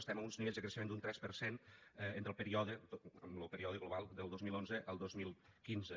estem a uns nivells de creixement d’un tres per cent en lo període global del dos mil onze al dos mil quinze